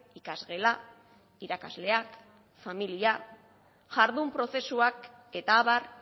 ikasgela irakasleak familia jardun prozesuak eta abar